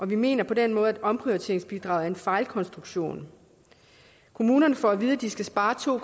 vi mener på den måde at omprioriteringsbidraget er en fejlkonstruktion kommunerne får at vide at de skal spare to